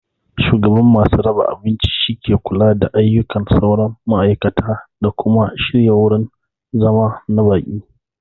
Shugaban masu raba abinci shine ke kula da ayyukan sauran ma'aikatan da kuma shirya wurin zama na baƙi.